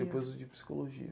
Depois o de psicologia.